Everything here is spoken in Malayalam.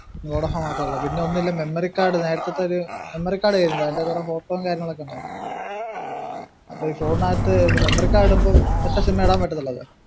വൊഡാഫോൺ മാത്രല്ല പിന്നെ ഒന്നിൽ memory card നേരെത്തെത്തെ ഒരു memory card ആയിരുന്നു എന്റെ കൊറേ photo ഉം കാര്യങ്ങളൊക്കെ ഉണ്ടാർന്നു. അപ്പൊ ഈ memory card ഇടുമ്പോ ഒറ്റ sim ഏ ഇടാൻ പറ്റുന്നുള്ളുലോ